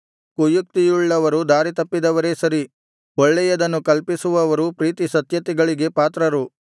ಕುಯುಕ್ತಿಯುಳ್ಳವರು ದಾರಿತಪ್ಪಿದವರೇ ಸರಿ ಒಳ್ಳೆಯದನ್ನು ಕಲ್ಪಿಸುವವರು ಪ್ರೀತಿಸತ್ಯತೆಗಳಿಗೆ ಪಾತ್ರರು